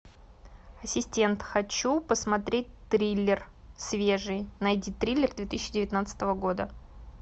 ассистент хочу посмотреть триллер свежий найди триллер две тысячи девятнадцатого года